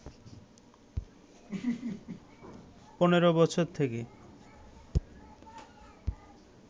১৫ বছর থেকে